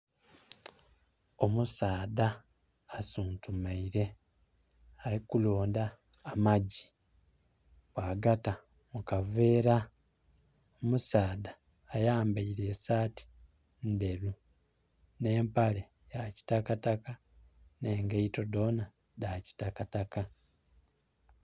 Omusaadha asuntumeire ali ku londa amagyi bwagata mukavera. Omusaadha ayambeire esati ndheru ne mpale yakitakataka ne ngeito dhona dha kitakataka.